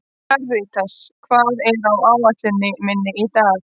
Karítas, hvað er á áætluninni minni í dag?